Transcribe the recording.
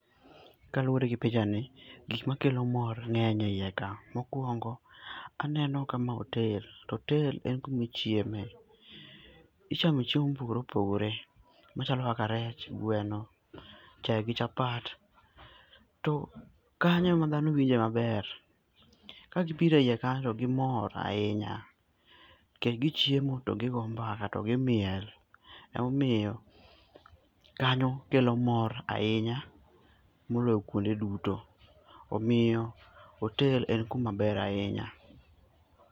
Kaluwore gi pichani, gik makelo mor ng'eny eiye ka. Mokuongo, aneno ka mae otel, to otel en kama ichieme. Ichame chiemo mopogore opogore machalo kaka rech, gweno, chae gi chapat. To kanyo ema dhano winje maber. Ka gibiro eiye kanyo to gimor ahinya nikech gichiemo to gigo mbaka to gimiel. Emomiyo kanyo kelo mor ahinya moloyo kuonde duto. Omiyo otel en kumaber ahinya.